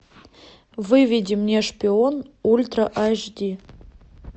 выведи мне шпион ультра аш ди